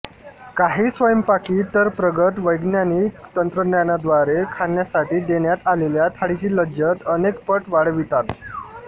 काही स्वयंपाकी तरप्रगत वैज्ञानिक तंत्रज्ञानाद्वारे खाण्यासाठी देण्यात आलेल्या थाळीची लज्जत अनेकपट वाढवितात